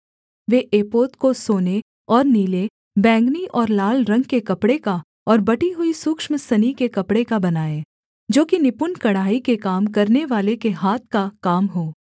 वे एपोद को सोने और नीले बैंगनी और लाल रंग के कपड़े का और बटी हुई सूक्ष्म सनी के कपड़े का बनाएँ जो कि निपुण कढ़ाई के काम करनेवाले के हाथ का काम हो